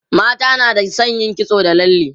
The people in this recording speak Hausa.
mata na da San suyi kitso da lalle